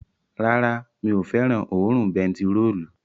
Rárá, mi ò fẹ́ràn òórùn bentiróòlù